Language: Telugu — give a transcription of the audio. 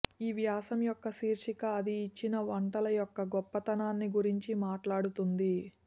ఈ వ్యాసం యొక్క శీర్షిక అది ఇచ్చిన వంటల యొక్క గొప్పతనాన్ని గురించి మాట్లాడుతుంది